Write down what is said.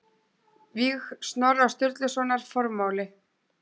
Víg Snorra Sturlusonar Formáli